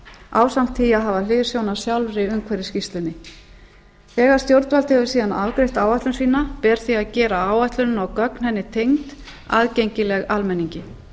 ásamt því að hafa hliðsjón af sjálfri umhverfisskýrslunni þegar stjórnvald hefur síðan afgreitt áætlun sína ber því að gera áætlun og gögn henni tengd aðgengileg almenningi